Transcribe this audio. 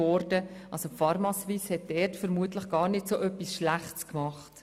Die pharmaSuisse hat dort vermutlich also etwas gar nicht so Schlechtes gemacht.